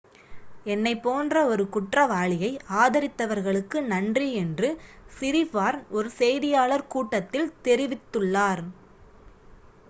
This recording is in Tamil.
"""என்னைப் போன்ற ஒரு குற்றவாளியை ஆதரித்தவர்களுக்கு நன்றி" என்று சிரிபார்ன் ஒரு செய்தியாளர் கூட்டத்தில் தெரிவித்துள்ளார்.